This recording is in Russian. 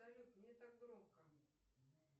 салют не так громко